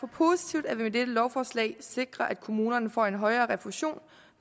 positivt at vi med dette lovforslag sikrer at kommunerne får en højere refusion